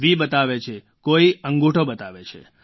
વી બતાવે છે કોઈ અંગૂઠો બતાવે છે